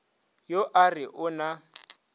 yo a re o na